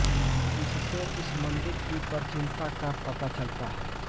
इससे इस मंदिर की प्राचीनता का पता चलता है